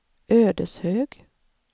Ödeshög